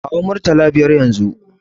Kawo murtala biyar yanzun!